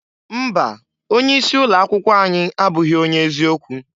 Mba! Onye isi ụlọ akwụkwọ anyị abụghị onye eziokwu.